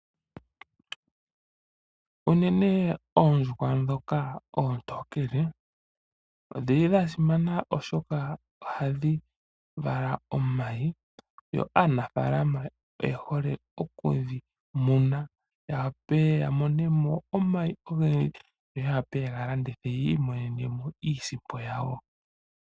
Oondjuhwa oontonkele odha simana molwaashoka ohadhi vala omayi. Aanafaalama oyehole okumuna oondjuhwa dholudhi ndika yawape okulanditha omayi ngele gavalwa. Momukalo nguka ohaya imonenemo iiyemo .